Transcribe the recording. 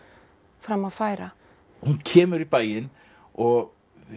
fram að færa hún kemur í bæinn og